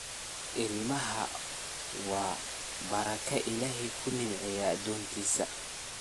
Ilmaxa wa baraka illahey kunicmey adontiss.